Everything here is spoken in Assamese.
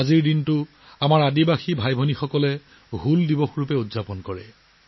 আমাৰ জনজাতীয় ভাই ভনীসকলে এই দিনটোক 'হুল ডে' হিচাপে উদযাপন কৰে